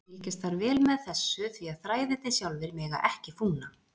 Fylgjast þarf vel með þessu því að þræðirnir sjálfir mega ekki fúna.